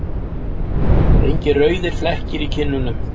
Engir rauðir flekkir í kinnunum.